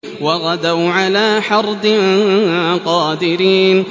وَغَدَوْا عَلَىٰ حَرْدٍ قَادِرِينَ